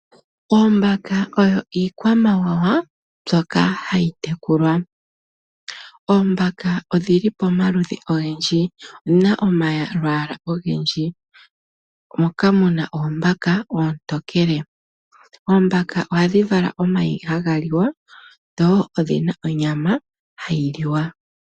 Oombaka oyo iikwamawawa mbyoka hayi tekulwa. Oombaka odhili pomaludhi ogendji dhina omalwaala ogendji moka muna oombaka oontokele. Oombaka ohadhi vala omayi haga liwa dho odhina onyama hayi liwa.